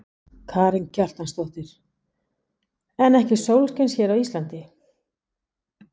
Karen Kjartansdóttir: En ekki sólskins hér á Íslandi?